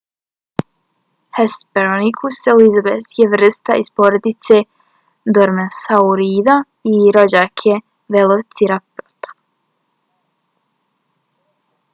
hesperonychus elizabethae je vrsta iz porodice dromeosaurida i rođak je velociraptora